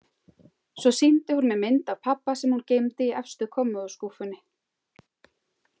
Svo sýndi hún mér mynd af pabba, sem hún geymdi í efstu kommóðuskúffunni.